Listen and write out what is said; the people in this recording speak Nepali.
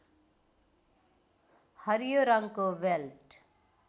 हरियो रङको बेल्ट